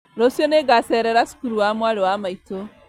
Rũciũ nĩngacerera cukuru wa mwarĩ wa maitũ